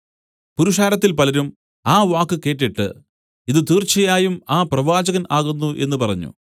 പുരുഷാരത്തിൽ പലരും ആ വാക്ക് കേട്ടിട്ട് ഇതു തീർച്ചയായും ആ പ്രവാചകൻ ആകുന്നു എന്നു പറഞ്ഞു